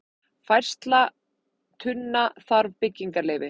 Færsla tunna þarf byggingarleyfi